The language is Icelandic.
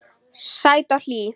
Sæt og hlý.